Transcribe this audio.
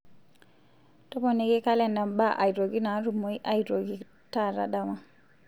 toponiki kalenda mbaa aitoki naatumoi aitoki taata dama